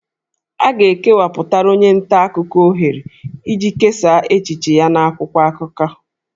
A ga-ekewapụtara onye nta akụkọ ohere iji kesaa echiche ya n'akwụkwọ akụkọ